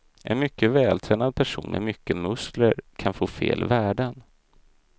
En mycket vältränad person med mycket muskler kan få fel värden.